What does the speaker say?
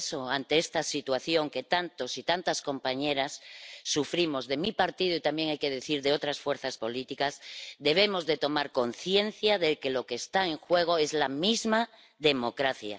Por eso, ante esta situación que tantos y tantas compañeras sufrimos de mi partido —y también, hay que decir, de otras fuerzas políticas—, debemos tomar conciencia de que lo que está en juego es la misma democracia.